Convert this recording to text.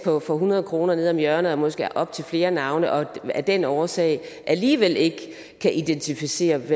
for hundrede kroner nede om hjørnet og måske op til flere navne og af den årsag alligevel ikke kan identificeres